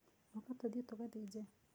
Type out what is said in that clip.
ũka tũthiĩ tũgathĩnje.